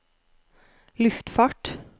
luftfart